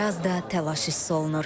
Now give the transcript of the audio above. Bir az da təlaş hiss olunur.